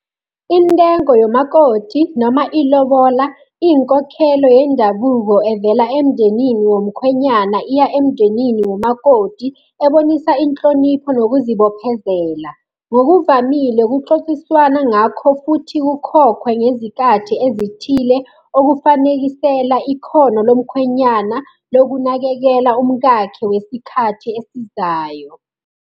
Intengo yomakoti noma ilobola iy'nkokhelo yendabuko evela emndenini womkhwenyana iya emndenini womakoti, ebonisa inhlonipho nokuzibophezela. Ngokuvamile kuxoxiswana ngakho, futhi kukhokhwe ngezikathi ezithile okufanekisela ikhono lomkhwenyana lokunakekela umkakhe wesikhathi esizayo.